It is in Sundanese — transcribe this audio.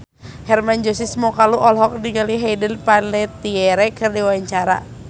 Hermann Josis Mokalu olohok ningali Hayden Panettiere keur diwawancara